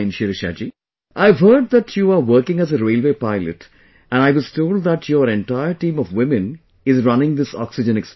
Shirisha ji, I have heard that you are working as a railway pilot and I was told that your entire team of women is running this oxygen express